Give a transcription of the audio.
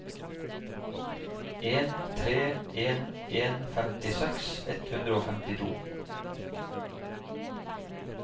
en tre en en femtiseks ett hundre og femtito